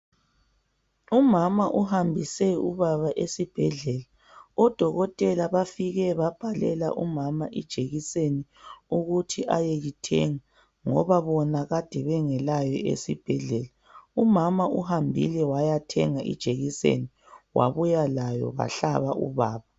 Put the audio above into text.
Umama uhambise ubaba esibhedlela. Odokotela bafike babhalela umama ijekiseni ukuthi ayeyithenga ngoba bona kade bengelayo esibhedlela. Umama uhambile wayathenga ijekiseni wabuya layo bahlaba ubaba.